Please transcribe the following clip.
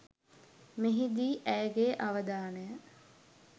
මෙහිදී ඇයගේ අවධානය